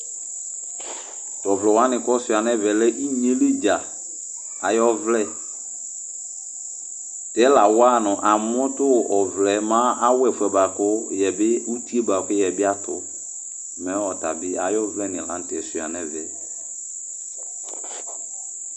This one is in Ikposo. T'ɔvlɛwanɩ k'ɔsiua n'ɛvɛ lɛ inyeyɛli dzaa ay'ɔvlɛ Tɛ la wanʋ amʋ tʋ ɔvlɛ mɛ awa ɛfʋɛ bua kʋ yɛbɩ, uti yɛbi atʋ, mɛ atabɩ ayʋ ɔvlɛnɩ la n'tɛ siua n'ɛvɛ